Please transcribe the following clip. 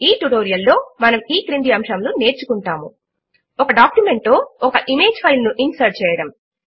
ఈ ట్యుటోరియల్ లో మనము ఈ క్రింది అంశములు నేర్చుకుంటాము160 ఒక డాక్యుమెంట్ లో ఒక ఇమేజ్ ఫైల్ ను ఇన్సర్ట్ చేయడము